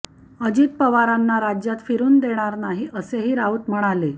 अजित पवारांना राज्यात फिरुन देणार नाही असेही राऊत म्हणाले